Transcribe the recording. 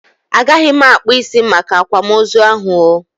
Agaghị m akpụ isi Make akwamozu ahụ oo